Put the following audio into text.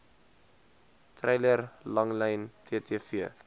treiler langlyn ttv